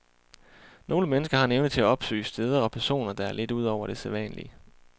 Nogle mennesker har en evne til at opsøge steder og personer, der er lidt ud over det sædvanlige.